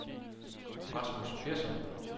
Rasmus Persson